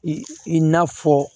I i na fɔ